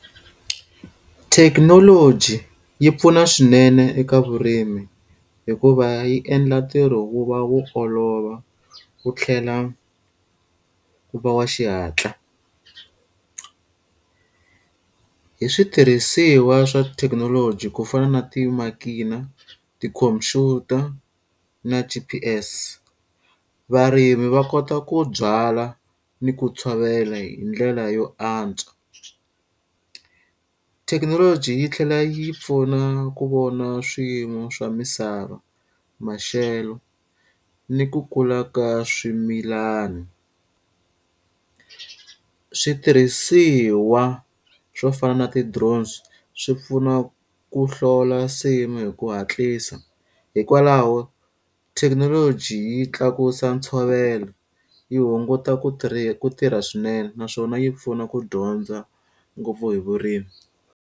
Thekinoloji yi pfuna swinene eka vurimi hikuva yi endla ntirho wu va wu olova wu tlhela wu va wa xihatla. Hi switirhisiwa swa thekinoloji ku fana na timakina, tikhomphyuta na G_P_S, varimi va kota ku byala ni ku tshovela hi ndlela yo antswa. Thekinoloji yi tlhela yi pfuna ku vona swiyimo swa misava, maxelo, ni ku kula ka swimilani. Switirhisiwa swo fana na ti-drones swi pfuna ku hlola nsimu hi ku hatlisa. Hikwalaho thekinoloji yi tlakusa ntshovelo, yi hunguta ku ku tirha swinene naswona yi pfuna ku dyondza ngopfu hi vurimi.